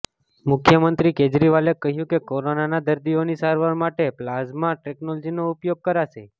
મુખ્યમંત્રી કેજરીવાલે કહ્યું કે કોરોનાના દર્દીઓની સારવાર માટે પ્લાઝમા ટેક્નોલોજીનો ઉપયોગ કરાશે